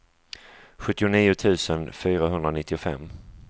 sjuttionio tusen fyrahundranittiofem